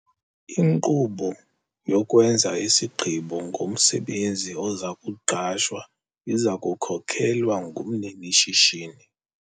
Inkqubo yokwenza isigqibo ngomsebenzi oza kuqeshwa iza kukhokelwa ngumnini-shishini.